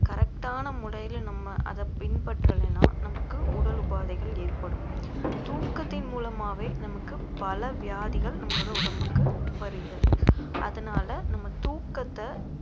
correct ஆன முறையில நம்ம அதை பின்பற்றலைன்னா நமக்கு உடல் உபாதைகள் ஏற்படும் தூக்கத்தின் மூலமாவே நமக்கு பல வியாதிகள் நம்மளோட உடம்புக்கு வருகிறது அதனால நம்ம தூக்கத்த